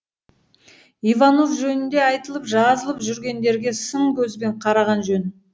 иванов жөнінде айтылып жазылып жүргендерге сын көзбен қараған жөн